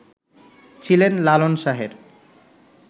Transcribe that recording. ছিলেন লালন শাহের